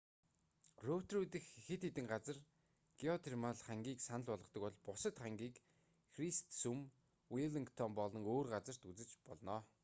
роторуа дахь хэд хэдэн газар геотермал хангиг санал болгодог бол бусад хангиг христсүм веллингтон болон өөр газарт үзэж болно